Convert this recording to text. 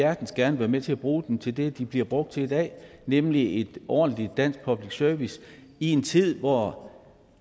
hjertens gerne være med til at bruge den til det den bliver brugt til i dag nemlig ordentlig dansk public service i en tid hvor